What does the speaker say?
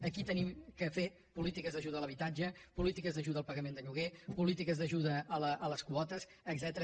aquí hem de fer polítiques d’ajuda a l’habitatge polítiques d’ajuda al pagament de lloguer polítiques d’ajuda a les quotes etcètera